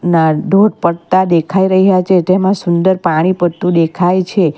ધોધ પડતા દેખાઈ રહ્યા છે. તેમાં સુંદર પાણી પડતું દેખાઈ છે.